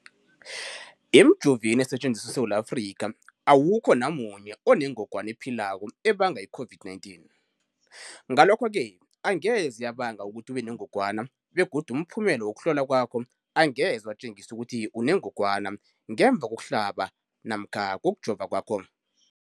Emijoveni esetjenziswa eSewula Afrika, awukho namunye onengog wana ephilako ebanga i-COVID-19. Ngalokho-ke angeze yabanga ukuthi ubenengogwana begodu umphumela wokuhlolwan kwakho angeze watjengisa ukuthi unengogwana ngemva kokuhlaba namkha kokujova kwakho.